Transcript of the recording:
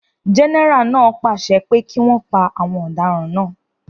Gẹ́nẹ́rà náà pàṣẹ pé kí wọn pa àwọn ọ̀daràn náà